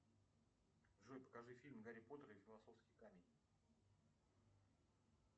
джой покажи фильм гарри поттер и философский камень